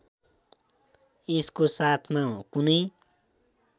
यसको साथमा कुनै